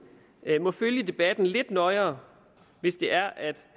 må følge debatten lidt nøjere hvis det er at